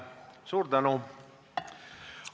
Suur tänu!